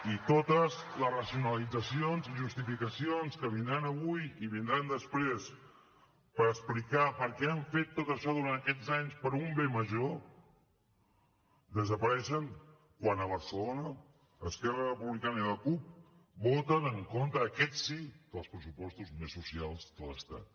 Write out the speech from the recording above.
i totes les racionalitzacions i justificacions que vindran avui i vindran després per explicar per què han fet tot això durant aquests anys per un bé major desapareixen quan a barcelona esquerra republicana i la cup voten en contra aquests sí dels pressupostos més socials de l’estat